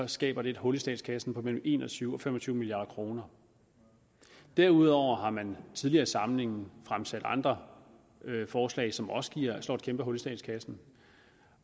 skabe et hul i statskassen på mellem en og tyve og fem og tyve milliard kroner derudover har man i tidligere samlinger fremsat andre forslag som også slår et kæmpe hul i statskassen